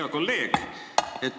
Hea kolleeg!